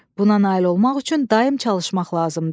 Buna nail olmaq üçün daimi çalışmaq lazımdır.